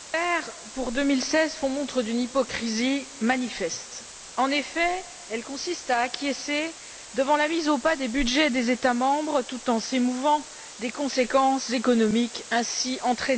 pour 2016 font montre d'une hypocrisie manifeste. En effet, elles consistent à acquiescer devant la mise au pas des budgets des États membres tout en s'émouvant des conséquences économiques ainsi entraînées.